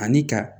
Ani ka